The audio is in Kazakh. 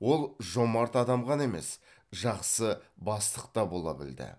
ол жомарт адам ғана емес жақсы бастық та бола білді